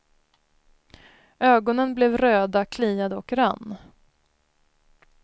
Ögonen blev röda, kliade och rann.